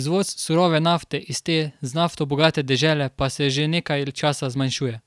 izvoz surove nafte iz te z nafto bogate dežele pa se že nekaj časa zmanjšuje.